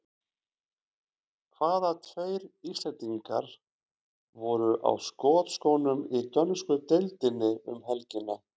Hvaða tveir Íslendingar voru á skotskónum í dönsku deildinni um helgina?